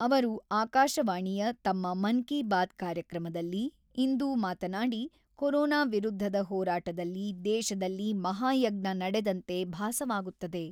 ಅವರು ಆಕಾಶವಾಣಿಯ ತಮ್ಮ ಮನ್-ಕೀ-ಬಾತ್ ಕಾರ್ಯಕ್ರಮದಲ್ಲಿ ಇಂದು ಮಾತನಾಡಿ ಕೊರೋನಾ ವಿರುದ್ಧದ ಹೋರಾಟದಲ್ಲಿ ದೇಶದಲ್ಲಿ ಮಹಾಯಜ್ಞಾ ನಡೆದಂತೆ ಭಾಸವಾಗುತ್ತದೆ.